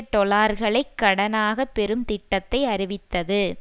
டொலர்களைக் கடனாக பெறும் திட்டத்தை அறிவித்தது